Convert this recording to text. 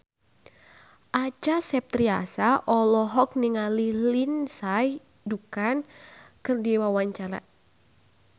Acha Septriasa olohok ningali Lindsay Ducan keur diwawancara